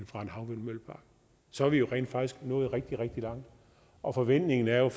fra en havvindmøllepark og så er vi jo rent faktisk nået rigtig rigtig langt og forventningen er